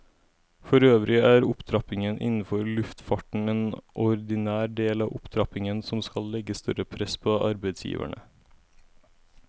Forøvrig er opptrappingen innenfor luftfarten en ordinær del av opptrappingen som skal legge større press på arbeidsgiverne.